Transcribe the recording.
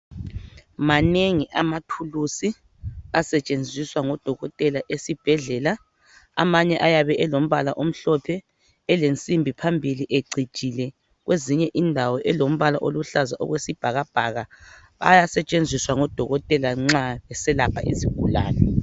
Manengi amathulusi asetshenziswa ngodokotela esibhedlela. Amanye ayabe alombala omhlophe, elesimbi phambili ecijile elombala oluhlaza okwesibhakabhaka. Ayasetshenziswa ngodokotela nxa beselapha izigulane.